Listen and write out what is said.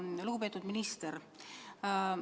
Lugupeetud minister!